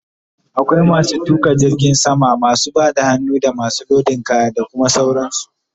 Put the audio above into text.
Akwai masu tuƙa jirgin sama, masu Bada hannu, damasu lodin kaya, da Kuma sauran su